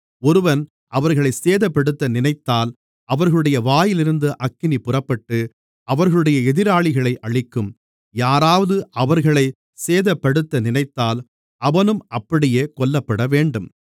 ஒருவன் அவர்களைச் சேதப்படுத்த நினைத்தால் அவர்களுடைய வாயிலிருந்து அக்கினி புறப்பட்டு அவர்களுடைய எதிராளிகளை அழிக்கும் யாராவது அவர்களைச் சேதப்படுத்த நினைத்தால் அவனும் அப்படியே கொல்லப்படவேண்டும்